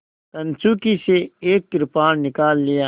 कंचुकी से एक कृपाण निकाल लिया